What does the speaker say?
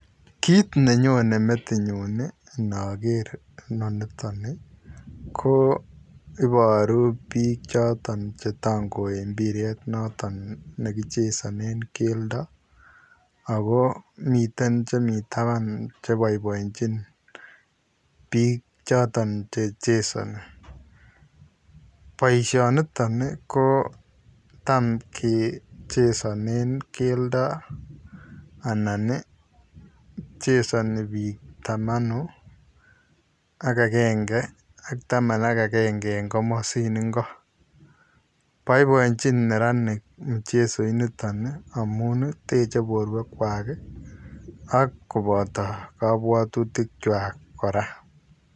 Kit ne Nyone metinyuun inoker inonitoni ko iboruu biik chotoon chetangoe mpiret naton nekichezanen keldo ako miten chemiten taban cheboiboenchin biik chotoon che chezani, boisioniton ii ko tam kechezanen kelda anan ii chezani biik tamanu ak agenge ak taman ak agenge en komosin, boiboiechin neranik mchezoinitoni amun teche borwekkwai ak kobota kabwatutikkwai kora